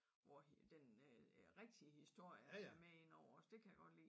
Hvor den øh rigtige historie er med inde over dét kan jeg godt lide